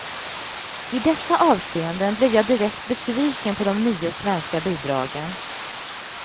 I dessa avseenden blev jag direkt besviken på de nio svenska bidragen.